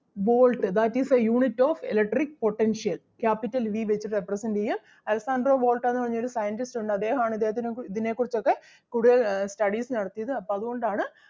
volt that is the unit of electric potential. Capital V വെച്ചിട്ട് represent ചെയ്യും Alessandro Volta എന്ന് പറഞ്ഞ ഒരു scientist ഉണ്ട് അദ്ദേഹം ആണ് ഇദ്ദേഹത്തിനെ കുറിച്ച് ഇതിനെ കുറിച്ച് ഒക്കെ കൂടുതൽ ആഹ് studies നടത്തിയത് അപ്പം അത് കൊണ്ട് ആണ്